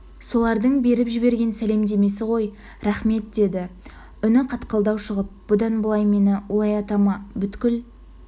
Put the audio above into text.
солардың беріп жіберген сәлемдемесі ғой рақмет деді үні қатқылдау шығып бұдан былай мені олай атама бүкіл